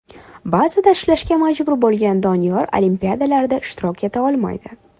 Ba’zida ishlashga majbur bo‘lgan Doniyor olimpiadalarda ishtirok eta olmaydi.